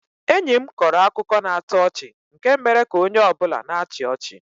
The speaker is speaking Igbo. Enyi mkọrọ akụkọ na-atọ ọchị nke mere ka onye ọ bụla na-achị ọchị.